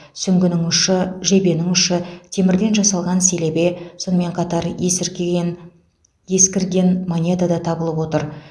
сүңгінің ұшы жебенің ұшы темірден жасалған селебе сонымен қатар есіркіген ескірген монета да табылып отыр